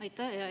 Aitäh!